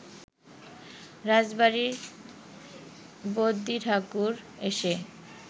রাজবাড়ির বদ্যিঠাকুর এসে